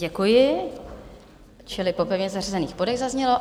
Děkuji, čili po pevně zařazených bodech, zaznělo.